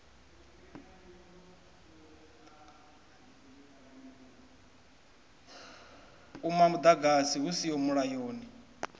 uma muḓagasi hu siho mulayoni